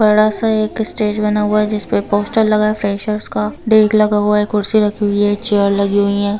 '' बड़ा सा एक स्टेज बना हुआ है जिसपर एक पोस्टर लगा है फ्रैशर्स का डेक लगा हुआ है कुर्सी लगी हुई है चेयर लगी हुई है। ''